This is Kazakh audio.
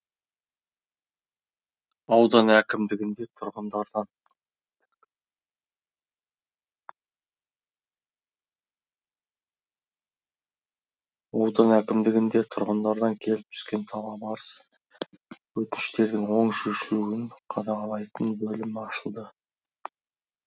аудан әкімдігінде тұрғындардан аудан әкімдігінде тұрғындардан келіп түскен талап арыз өтініштердің оң шешілуін қадағалайтын бөлім ашылды